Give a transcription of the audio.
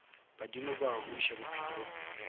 badimo ba a buša bophelong